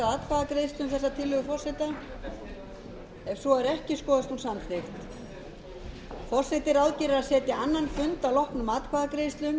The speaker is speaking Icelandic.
í kvöld forseti ráðgerir að setja annan fund að loknum atkvæðagreiðslum til að gera fjórðu dagskrármálið að lögum